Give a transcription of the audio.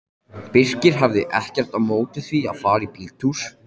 Birkir hafði ekkert á móti því að fara í bíltúr.